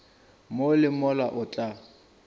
mo le mola o tla